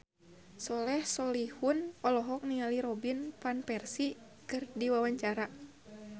Soleh Solihun olohok ningali Robin Van Persie keur diwawancara